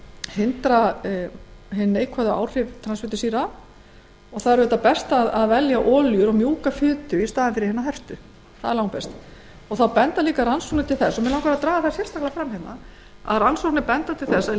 hindra hin neikvæðu áhrif transfitusýra er að velja olíu og mjúka fitu í staðinn fyrir herta það er langbest rannsóknir benda til þess mig langar til að draga það sérstaklega fram að rannsóknir benda jafnframt til þess að